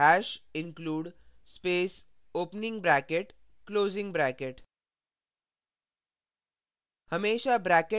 type करें hash #include space opening bracket closing bracket